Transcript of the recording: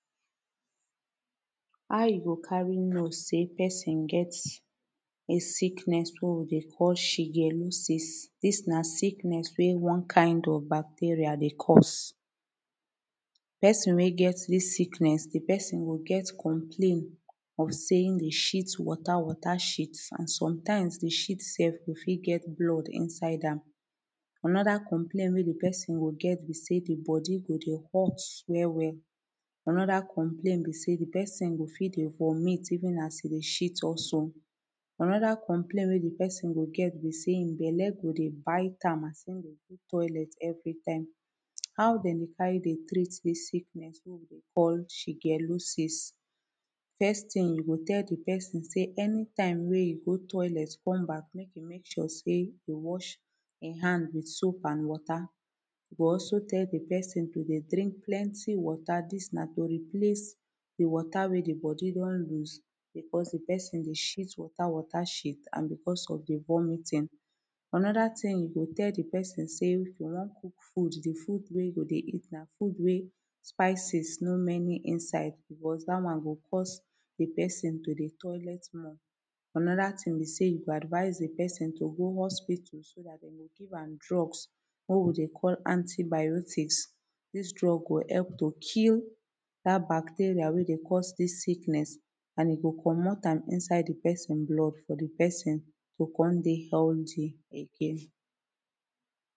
How you go carry know say person sickness wey we dey call shigellosis. This na sickness wey one kind of bacteria dey cause person wey get dis sickness the pesin go get complain of say him dey shit water water shit and sometimes the shit sef e fit get blood inside am anoda complain wey de person go get be say the body go dey hot well well. Anoda complain be say the person go fit dey vomit even as e dey shit also anoda complain wey de pesin go get be say hin belle go dey bite am as him dey go toilet every time. How dem dey carry dey treat dis Sickness wey we call shigellosis First tin you go tell de person say anytime wey you go toilet come back mek you mek sure say e go wash hin hand wit soap and wata e go also tell the person to dey drink plenty wata dis na to replace de wata wey de body don loose becoz de person go shit wata wata shit an becoz of de vomiting Anoda ting you go tell de person say no cook food de food wey you go dey eat na food wey spices no many inside becoz dat one go cause de person to dey toilet more. Anoda tin be say you go advice de person to go hospital so dat dem go give am drugs wey we dey call antibiotics. dis drugs go help to kill dat bacteria wey dey cause dis sickness an e go comot am inside de person blood for de person to come dey healthy again